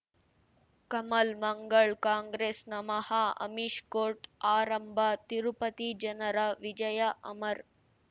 ಕಮಲ್ ಮಂಗಳ್ ಕಾಂಗ್ರೆಸ್ ನಮಃ ಅಮಿಷ್ ಕೋರ್ಟ್ ಆರಂಭ ತಿರುಪತಿ ಜನರ ವಿಜಯ ಅಮರ್